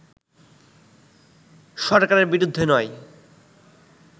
সরকারের বিরুদ্ধে নয়